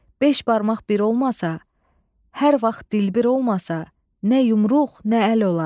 Beş barmaq bir olmasa, hər vaxt dilbir olmasa, nə yumruq, nə əl olar.